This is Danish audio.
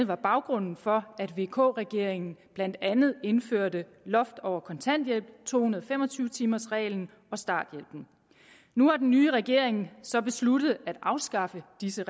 var baggrunden for at vk regeringen blandt andet indførte loft over kontanthjælp to hundrede og fem og tyve timers reglen og starthjælpen nu har den nye regering så besluttet at afskaffe disse